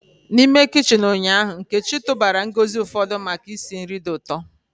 N'ime kichin ụnyaahụ, Nkechi tụbara ngozi ụfọdụ maka isi nri dị ụtọ.